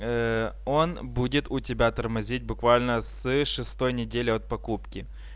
он будет у тебя тормозить буквально с шестой недели от покупки